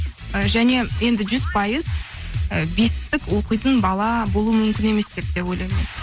і және енді жүз пайыз ы бестік оқитын бала болу мүмкін емес деп те ойлаймын